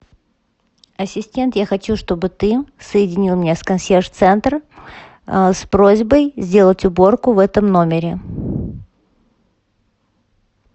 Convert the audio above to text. ассистент я хочу чтобы ты соединил меня с консьерж центром с просьбой сделать уборку в этом номере